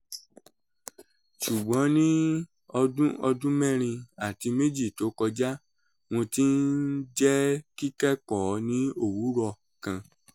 ṣùgbọ́n ní ọdún ọdún mẹ́rin àti méjì tó kọjá mo ti ń jẹ́ kíkẹ́kọ̀ọ́ ní òwúrọ̀ kan